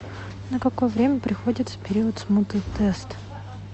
на какое время приходится период смуты тест